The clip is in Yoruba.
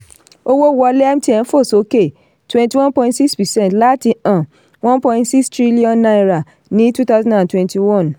owó wọlé mtn fò sókè twenty one point six percent láti um one point six trillion naira ní twenty twenty one